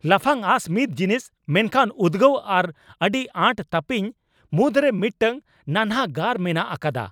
ᱞᱟᱯᱷᱟᱝ ᱟᱸᱥ ᱢᱤᱫ ᱡᱤᱱᱤᱥ, ᱢᱮᱱᱠᱷᱟᱱ ᱩᱫᱜᱟᱹᱣ ᱟᱨ ᱟᱹᱰᱤ ᱟᱴ ᱛᱟᱹᱯᱤᱧ ᱢᱩᱫᱽᱨᱮ ᱢᱤᱫᱴᱟᱝ ᱱᱟᱱᱦᱟ ᱜᱟᱨ ᱢᱮᱱᱟᱜ ᱟᱠᱟᱫᱟ ᱾